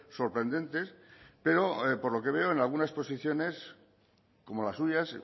sorprendentes pero por lo que veo en algunas posiciones como las suyas